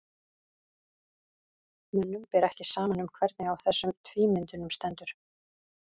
mönnum ber ekki saman um hvernig á þessum tvímyndum stendur